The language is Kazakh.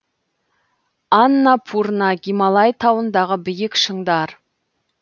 аннапурна гималай тауындағы биік шыңдар